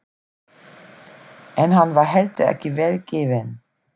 En hann var heldur ekki vel gefinn.